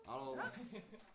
Hallo